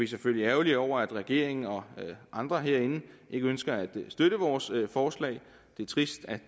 selvfølgelig ærgerlige over at regeringen og andre herinde ikke ønsker at støtte vores forslag det er trist at